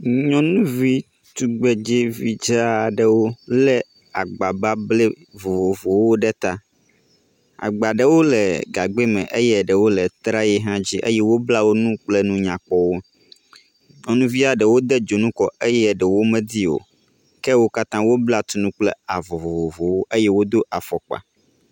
Nyɔnuvi tugbedzevi dzɛɛ aɖewo le agba bablɛ vovovowo ɖe ta, agba ɖewo le gagbɛ me eye ɖewo le trayi hã dzi eye wobla wonu kple nu nyakpɔwo. Nyɔnuvia ɖewo de dzonu kɔ eye ɖewo medi o ke wo katã wobla tu nu kple avɔ vovovowo eye wo do afɔkpa.